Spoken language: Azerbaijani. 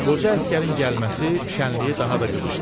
Qoca əsgərin gəlməsi şənliyi daha da qızışdırdı.